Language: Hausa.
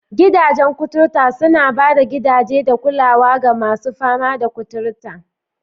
Gidajen kuturta suna ba da gidaje da kulawa ga masu fama da kuturta.